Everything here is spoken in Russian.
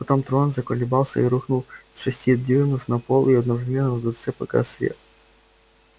потом трон заколебался и рухнул с шести дюймов на пол и одновременно во дворце погас свет